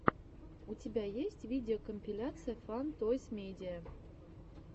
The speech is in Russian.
у тебя есть видеокомпиляция фан тойс медиа